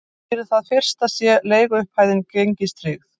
Fyrir það fyrsta sé leiguupphæðin gengistryggð